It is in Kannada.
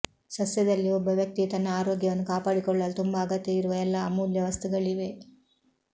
ಸಸ್ಯದಲ್ಲಿ ಒಬ್ಬ ವ್ಯಕ್ತಿಯು ತನ್ನ ಆರೋಗ್ಯವನ್ನು ಕಾಪಾಡಿಕೊಳ್ಳಲು ತುಂಬಾ ಅಗತ್ಯವಿರುವ ಎಲ್ಲ ಅಮೂಲ್ಯ ವಸ್ತುಗಳಿವೆ